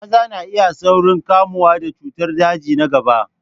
Maza na iya saurin kamuwa da cutar daji na gaba.